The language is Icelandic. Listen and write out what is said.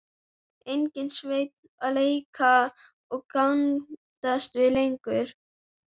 Enginn Sveinn að leika og gantast við lengur.